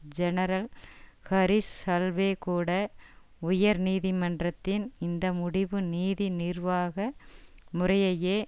general Harish Salve கூட உயர்நீதிமன்றத்தின் இந்த முடிவு நீதி நிர்வாக முறையையே